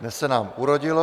Dnes se nám urodilo.